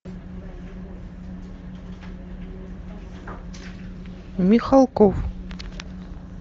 михалков